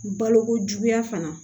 Balokojuguya fana